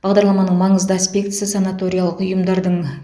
бағдарламаның маңызды аспектісі санаториялық ұйымдардың